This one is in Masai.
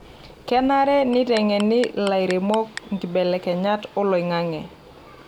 Kenare neitengeni lairemok nkibelekenyat oloing'ang'e .